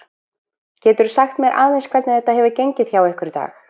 Geturðu sagt mér aðeins hvernig þetta hefur gengið hjá ykkur í dag?